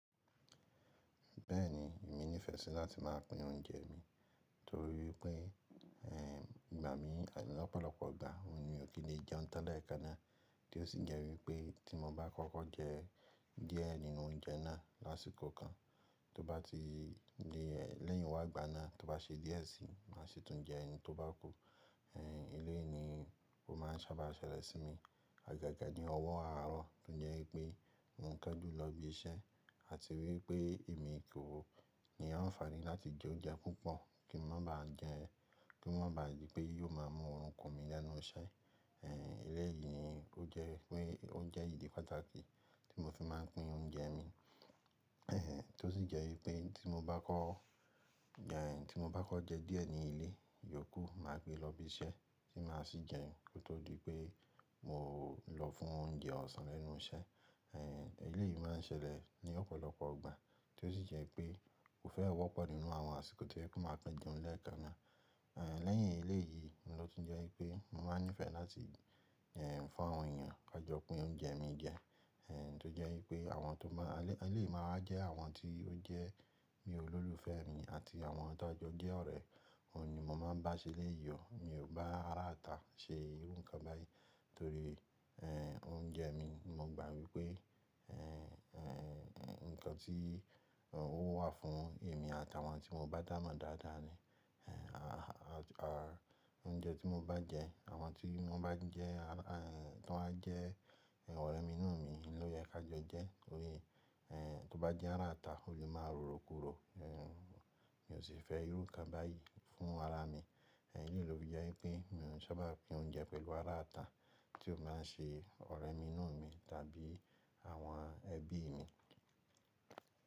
Bẹ́ẹ̀ni, èmi nífẹ̀ẹ́ sí láti máa pín oúnjẹ mi torí wípé, ẹ́, ìgbà mi ani lọ́pọ̀lọpọ̀ igbà mi o kin lè jẹun tan lẹ̀ ẹ kán ná. Tí ó sì jẹ́ wípé tí mo bá kọ́kọ́ jẹ díẹ̀ nínú oúnjẹ náà lásìkò kan, tó bá ti le lẹ́yìn wá gbana tó bá se díẹ̀ sí, má ṣe tún jẹ hin tó bá kú. Eéh, eléyìí ni ó má n sábà ṣẹlẹ̀ sí mi, agaga ní ọwọ́ àárọ̀ tó jẹ́ wípé mo n kanjù lọ ibi iṣẹ́ àti wípé èmi kò ní àǹfààní láti jẹ oúnjẹ púpọ̀ kí n má ba jẹ́ ki o má ba dí pé yóò má mú orun kún mi lẹ́nu iṣẹ́. Eéh, eléyìí ni ó jẹ́ wípé o je idi pàtàkì tí mo fi máa n pín oúnjẹ mi. Eéh, tó sì jẹ́ wípé tí mo bá kọ́, tí mo bá kọ́ jẹ díẹ̀ ní ilé, iyòókù má gbé lọ ibi iṣẹ́ tí má sì jẹ kó tó di pé mo lọ fún oúnjẹ ọ̀sán nínú iṣẹ́. Eéh, eléyìí má n ṣẹlẹ̀ ní ọ̀pọ̀lọpọ̀ igbà tó sì jẹ́ pé kò fẹ́ wọ́pọ̀ nínú àwọn àsìkò to jẹ pe máa kan jẹun lẹ́ẹ̀kan náà. Eéh, lẹ́yìn eléyìí ni lọ tún jẹ́ wípé mo máa nífẹ̀ẹ́ láti, ẹ́, fún àwọn èèyàn kàjọpín oúnjẹ mi jẹ. Eéh, tó jẹ́ wípé àwọn tó má awon lé awon eléyìí máa wà jẹ́ àwọn tí ó jẹ́ bi olólùfẹ́ mi àti àwọn ta jọ je ọ̀rẹ́, òun ni mo máa n bá ṣeléyi ò. Mi ò n bá ará àta ṣe irú nǹkan báyìí torí, ẹ́, oúnjẹ mi mo gbà wípé, ẹ́, ẹ́, ǹkan tí ó wà fún èmi àti àwọn tí mo bá dámo dáadáa ni. Eéh, oúnjẹ tí mo bá jẹ àwọn tí won bá n jẹ́, tọ wá jẹ́ ọ̀rẹ́ mi inú mi ló yẹ ká jo jẹ́. Tori Eéh, tó bá jẹ́ ará àta ó lè máa rorò kúrò. Eéh, mi ò sì fẹ́ irú nǹkan báyìí fún ara mi. Eéh, eléyìí ló fi jẹ́ wípé mi ò n sábà pín oúnjẹ pẹ̀lú ará àta tí ó bá n ṣe ọ̀rẹ́ inú mi tàbí àwọn ẹbí mi.